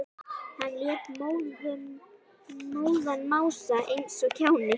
Hann lét móðan mása eins og kjáni.